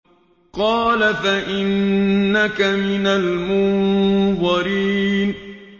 قَالَ فَإِنَّكَ مِنَ الْمُنظَرِينَ